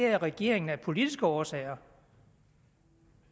regeringen af politiske årsager